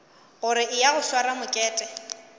gore eya o sware mokete